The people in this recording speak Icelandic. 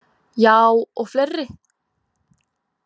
Ja, og fleiri.